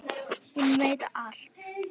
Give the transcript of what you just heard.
Hún veit allt.